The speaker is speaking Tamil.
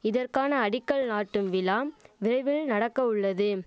இதற்கான அடிக்கல் நாட்டும் விழாம் விரைவில் நடக்கவுள்ளது